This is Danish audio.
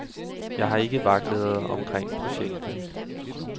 Jeg har ikke vaklet omkring projektet.